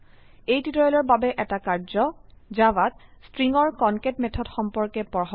এই টিউটৰীয়েলৰ বাবে এটা কাৰ্যয জাভাত স্ট্ৰিংৰ কনকেট মেথড সম্পৰ্কে পঢ়ক